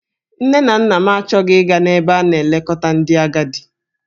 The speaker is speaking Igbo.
Nne na nna m achọghị ịga n'ebe a na-elekọta ndị agadi.